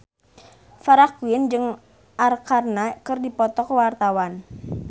Farah Quinn jeung Arkarna keur dipoto ku wartawan